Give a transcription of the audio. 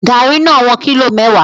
Garri no won kilo mewa